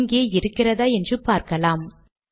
இங்கே இருக்கிறதா என்று பார்க்கலாம்